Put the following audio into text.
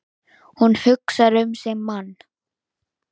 Hún hugsar um sinn mann.